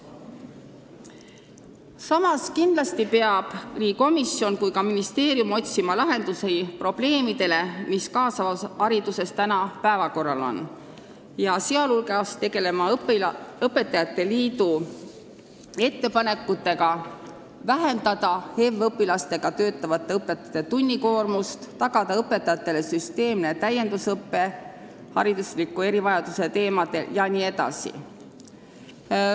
Samas, kindlasti peab nii komisjon kui ka ministeerium otsima lahendusi probleemidele, mis kaasavas hariduses päevakorral on, sh tuleb tegeleda õpetajate liidu ettepanekutega vähendada HEV-õpilastega töötavate õpetajate tunnikoormust, tagada õpetajatele süsteemne täiendusõpe hariduslike erivajaduste teemadel jne.